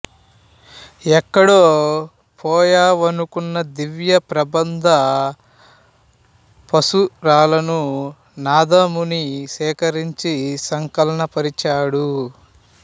ఎక్కడో పోయినవనుకున్న దివ్య ప్రబంధ పాశురాలను నాథముని సేకరించి సంకలన పరిచాడు